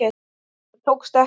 En það tókst ekki.